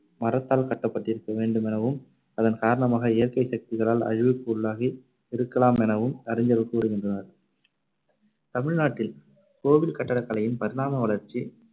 மரத்தால் கட்டப்பட்டிருக்க வேண்டுமெனவும் அதன் காரணமாக இயற்கை சக்திகளால் அழிவுக்கு உள்ளாகி இருக்கலாமெனவும் அறிஞர்கள் கூறுகின்றனர். தமிழ்நாட்டில் கோவில் கட்டடக்கலையின் பரிணாம வளர்ச்சி